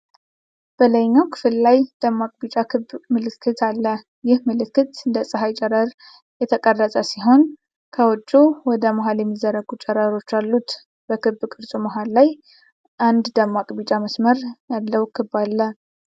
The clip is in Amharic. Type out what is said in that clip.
በላይኛው ክፍል ላይ፣ ደማቅ ቢጫ ክብ ምልክት አለ። ይህ ምልክት እንደ ጸሐይ ቅርጽ የተቀረጸ ሲሆን፣ ከውጭው ወደ መሃል የሚዘረጉ ጨረሮች አሉት። በክብ ቅርጹ መሃል ላይ አንድ ደማቅ ቢጫ መስመር ያለው ክብ አለ።